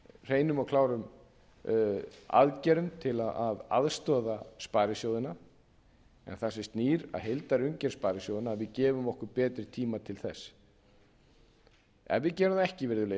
hreinum og klárum aðgerðum til að aðstoða sparisjóðina en það sem snýr að heildarumgjörð sparisjóðanna að við gefum okkur betri tíma til þess ef við gerum það ekki virðulegi